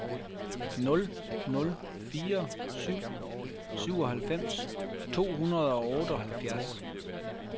nul nul fire syv syvoghalvfems to hundrede og otteoghalvfjerds